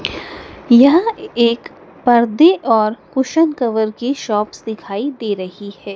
यह एक पर्दे और कुशन कवर की शॉप्स दिखाई दे रही है।